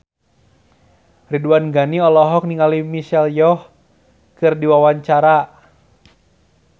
Ridwan Ghani olohok ningali Michelle Yeoh keur diwawancara